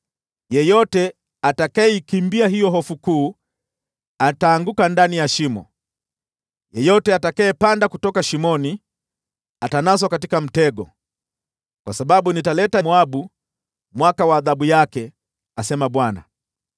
“Yeyote atakayeikimbia hiyo hofu kuu ataanguka ndani ya shimo, yeyote atakayepanda kutoka shimoni, atanaswa katika mtego, kwa sababu nitaletea Moabu mwaka wa adhabu yake,” asema Bwana .